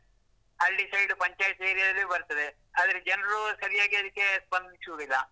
ಹಳ್ಳಿ side ಪಂಚಾಯ್ತಿಯಲ್ಲೂ ಬರ್ತದೆ, ಆದ್ರೆ ಜನರು ಸರಿಯಾಗಿ ಅದಕ್ಕೆ ಸ್ಪಂದಿಸುದಿಲ್ಲ.